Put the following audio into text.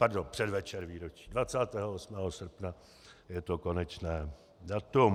Pardon, předvečer výročí, 28. srpna je to konečné datum.